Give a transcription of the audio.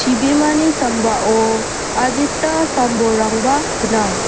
chibimani sambao adita sam bolrangba gnang.